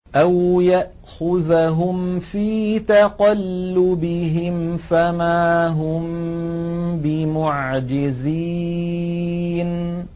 أَوْ يَأْخُذَهُمْ فِي تَقَلُّبِهِمْ فَمَا هُم بِمُعْجِزِينَ